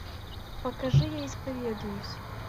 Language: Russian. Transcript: покажи я исповедуюсь